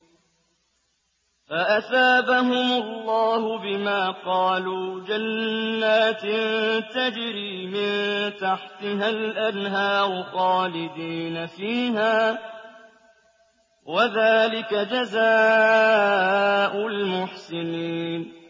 فَأَثَابَهُمُ اللَّهُ بِمَا قَالُوا جَنَّاتٍ تَجْرِي مِن تَحْتِهَا الْأَنْهَارُ خَالِدِينَ فِيهَا ۚ وَذَٰلِكَ جَزَاءُ الْمُحْسِنِينَ